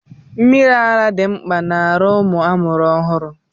Mmiri ara dị mkpa n'arụ ụmụ amụrụ ọhụụ.